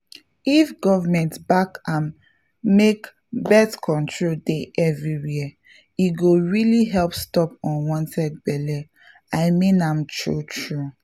if government back am make birth control dey everywhere e go really help stop unwanted belle — i mean am true true!